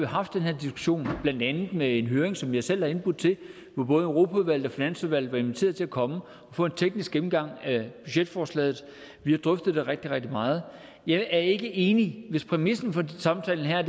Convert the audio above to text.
haft den her diskussion blandt andet med en høring som jeg selv er indbudt til hvor både europaudvalget og finansudvalget er blevet inviteret til at komme og få en teknisk gennemgang af budgetforslaget vi har drøftet det rigtig rigtig meget jeg er ikke enig hvis præmissen for samtalen her